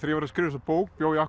skrifa þessa bók bjó ég